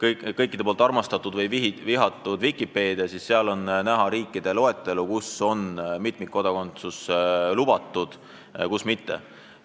kas armastatud või vihatud – kuidas kellelegi – Vikipeedia, siis seal on kirjas riigid, kus on mitmikkodakondsus lubatud ja kus mitte.